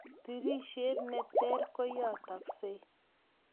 tirishet neter koyataksei